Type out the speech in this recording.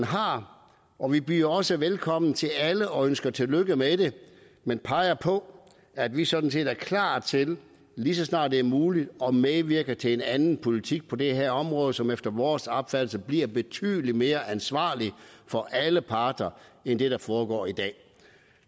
har og vi byder også velkommen til alle og ønsker tillykke med det men peger på at vi sådan set er klar til lige så snart det er muligt at medvirke til en anden politik på det her område som efter vores opfattelse bliver betydelig mere ansvarlig for alle parter end det der foregår i dag